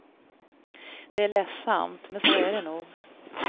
Det är ledsamt, men så är det nog.